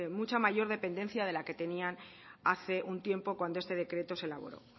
mucha mayor dependencia de la que tenían hace un tiempo cuando este decreto se elaboró